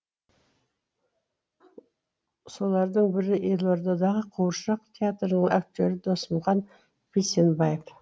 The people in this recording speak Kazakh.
солардың бірі елордадағы қуыршақ театрының актері досымхан бейсенбаев